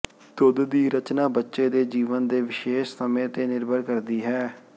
ਦੁੱਧ ਦੀ ਰਚਨਾ ਬੱਚੇ ਦੇ ਜੀਵਨ ਦੇ ਵਿਸ਼ੇਸ਼ ਸਮੇਂ ਤੇ ਨਿਰਭਰ ਕਰਦੀ ਹੈ